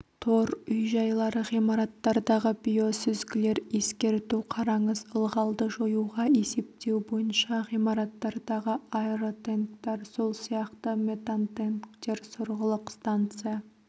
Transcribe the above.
тор үй-жайлары ғимараттардағы биосүзгілер ескерту қараңыз ылғалды жоюға есептеу бойынша ғимараттардағы аэротенктар сол сияқты метантенктер сорғылық станция